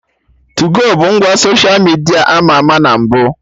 Tuu-go bụ ngwa soshia midia ama ama na mbụ